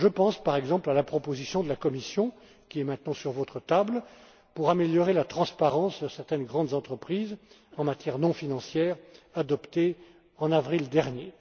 IV. Je pense, par exemple, à la proposition de la Commission, qui est maintenant sur votre table, concernant l'amélioration de la transparence de certaines grandes entreprises en matière non financière, adoptée en avril dernier.